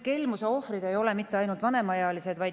Kelmuse ohvrid ei ole mitte ainult vanemaealised.